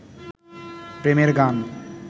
প্রেমের গান